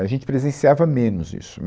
A gente presenciava menos isso.